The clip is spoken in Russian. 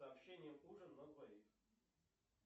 сообщение ужин на двоих